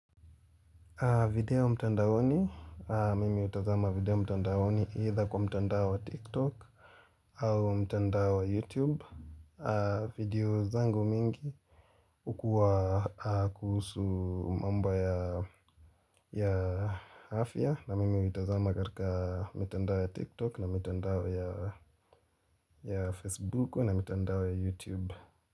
Video mtandaoni, mimi utazama video mtandaoni either kwa mtandao wa TikTok au mtandao wa YouTube, video zangu mingi hukua kuhusu mamba ya afya na mimi hutazama katika mitandao ya TikTok na mitandao ya Facebook na mitandao ya YouTube.